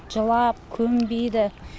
жылап көнбейді